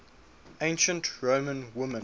ancient roman women